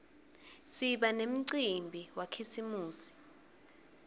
siba nemcimbi wakhisimusi